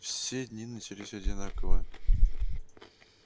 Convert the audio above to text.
все дни начались одинаково